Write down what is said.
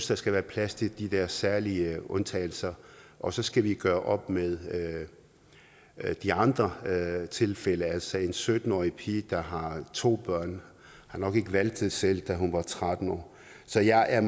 der skal være plads til de der særlige undtagelser og så skal vi gøre op med de andre tilfælde altså en sytten årig pige der har to børn har nok ikke valgt det selv da hun var tretten år så jeg er